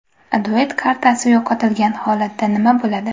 Duet kartasi yo‘qotilgan holatda nima bo‘ladi?